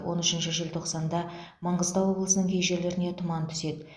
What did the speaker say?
он үшінші желтоқсанда маңғыстау облысының кей жерлеріне тұман түседі